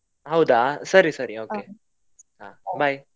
ಹೌದಾ, ಸರಿ ಸರಿ okay ಹಾ bye ..